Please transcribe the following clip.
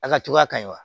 A ka jugu a kaɲi wa